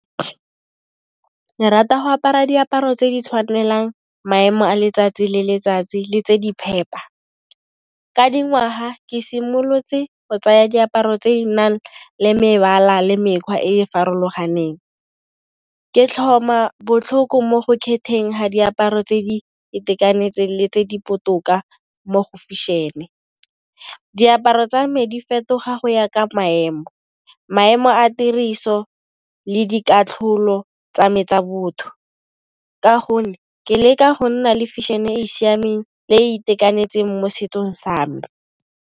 Ke rata go apara diaparo tse di tshwanelang maemo a letsatsi le letsatsi le tse di phepa. Ka dingwaga ke simolotse go tsaya diaparo tse di nang le mebala le mekgwa e e farologaneng, ke tlhoma botlhoko mo go kgetheng ga diaparo tse di itekanetseng le tse di botoka mo go fešhene, diaparo tsa me di fetoga go ya ka maemo, maemo a tiriso le dikatlholo tsa me tsa botho. Ka gonne ke leka go nna le fešhenen e e siameng le e e itekanetseng mo setsong sa me.